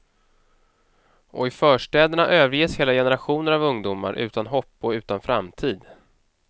Och i förstäderna överges hela generationer av ungdomar utan hopp och utan framtid.